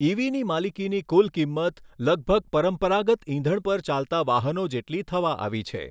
ઇવીની માલિકીની કુલ કિંમત લગભગ પરંપરાગત ઇંધણ પર ચાલતા વાહનો જેટલી થવા આવી છે.